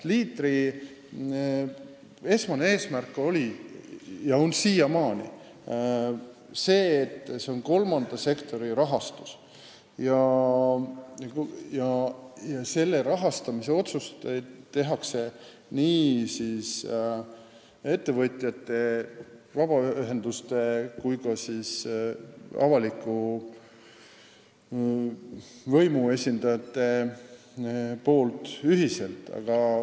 Leaderi esmane eesmärk oli ja on siiamaani see, et tegu on kolmanda sektori rahastusega, ning rahastamise otsused teevad ettevõtjate, vabaühenduste ja avaliku võimu esindajad ühiselt.